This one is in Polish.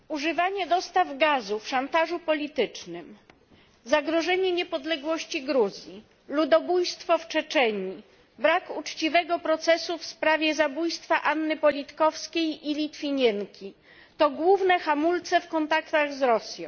Pani Przewodnicząca! Używanie dostaw gazu w szantażu politycznym, zagrożenie niepodległości Gruzji, ludobójstwo w Czeczenii, brak uczciwego procesu w sprawie zabójstwa Anny Politkowskiej i Litwinienki to główne hamulce w kontaktach z Rosją.